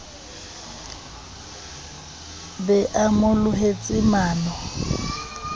be a mo lohetse mano